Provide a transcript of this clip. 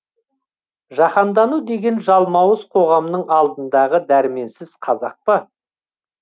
жаһандану деген жалмауыз қоғамның алдындағы дәрменсіз қазақ па